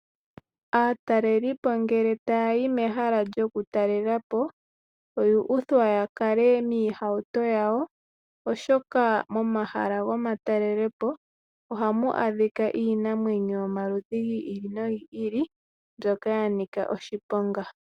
Aatalelipo ngele taya yi mehala lyoku talelapo oya uthwa ya kale miihauto yawo oshoka momahala gomatalelepo ohamu adhika iinamwenyo yomaludhi gi ili nogi ili mbyoka ya nika oshiponga.